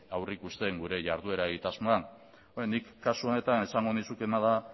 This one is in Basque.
aurreikusten gure jarduera egitasmoan beno nik kasu honetan esango nizukeena da